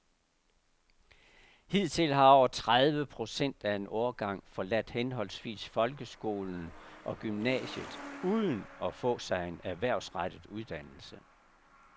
Hidtil har over tredive procent af en årgang forladt henholdsvis folkeskolen og gymnasiet uden at få sig en erhvervsrettet uddannelse.